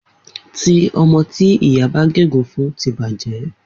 Omo egun ti iya baje laye.